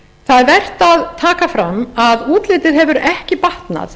það er vert að taka fram að útlitið hefur ekki batnað